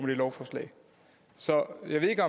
det lovforslag så jeg ved ikke